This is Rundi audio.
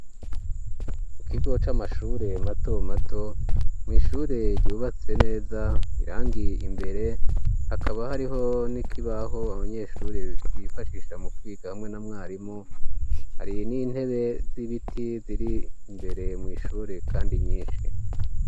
Ikigo c'amashure matomato mw'ishure ryubatse neza, irangi imbere, hakaba hariho n'ikibaho abanyeshure bifashisha mu kwiga hamwe na mwarimu hari n'intebe z'ibiti ziri imbere mw'ishure kandi nyinshi.